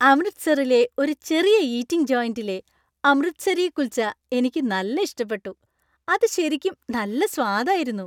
അമൃത്സറിലെ ഒരു ചെറിയ ഈറ്റിംഗ് ജോയിന്‍റിലെ അമൃത്സരി കുൽച്ച എനിക്ക് നല്ല ഇഷ്ടപ്പെട്ടു. അത് ശരിക്കും നല്ല സ്വാദ് ആയിരുന്നു.